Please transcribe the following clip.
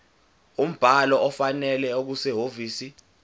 umbhalo ofanele okusehhovisi